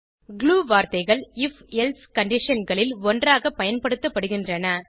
Glue வார்த்தைகள் if else conditionகளில் ஒன்றாக பயன்படுத்தப்படுகின்றன